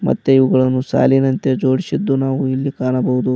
ಮತ್ತೆ ಇವುಗಳನ್ನು ಸಾಲಿನಂತೆ ಜೋಡಿಸಿದ್ದು ನಾವು ಇಲ್ಲಿ ಕಾಣಬಹುದು.